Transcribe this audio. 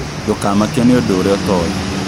Ndũkamakio nĩ ũndũ ũrĩa ũtoĩ